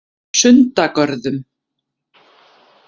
Sundagörðum